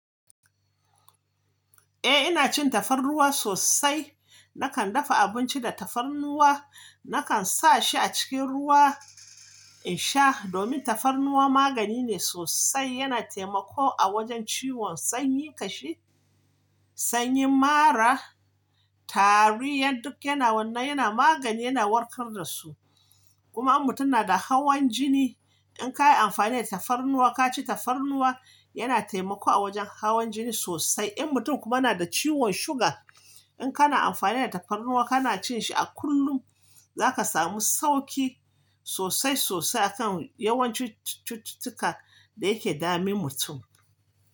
Eh ina cin tafarnuwa sosai. Nakan dafa abinci da tafarnuwa, nakan sa shi a cikin ruwa in sha domin tafarnuwa magani ne sosai. Yana taimako a wajen ciwon sanyin kashi, sanyi mara, tariyar duk yana wannan yana magani, yana warkar da su. Kuma in mutum yana da hawan jini, in ka yi amfani da tafarnuwa, ka ci tafarnuwa, yana taimako a wajen hawan jini sosai. In mutum kuma yana da ciwon suga, in kana amfani da tafarnuwa, kana cin shi a kullum, za ka samu sauki sosai sosai a kan yawancin cututtuka da yake dame mutum.